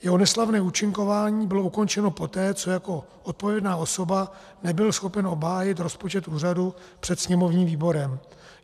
Jeho neslavné účinkování bylo ukončeno poté, co jako odpovědná osoba nebyl schopen obhájit rozpočet úřadu před sněmovním výborem.